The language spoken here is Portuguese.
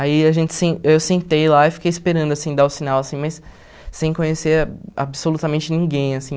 Aí a gente sen eu sentei lá e fiquei esperando assim dar o sinal assim, mas sem conhecer absolutamente ninguém assim.